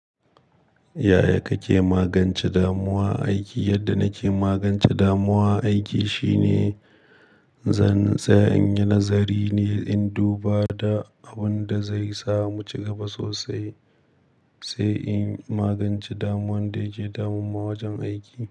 Yaya kake magance damuwa aiki? Yadda nake magance damuwa aiki shine zan tsaya in yi nazari ne in duba da abin da zai samu ci gaba sosai, sai in magance damuwan da yake damunma wajen aiki.